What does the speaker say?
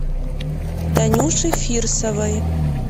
танюше фирсовой